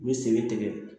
U bɛ sen bɛ tigɛ